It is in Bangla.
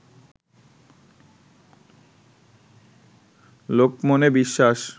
লোকমনে বিশ্বাস